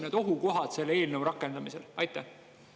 Mis on selle eelnõu rakendamise ohukohad?